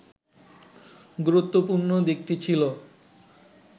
গুরুত্বপূর্ণ দিকটি ছিল